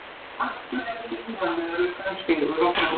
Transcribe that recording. Afturelding vann öruggan sigur á Fram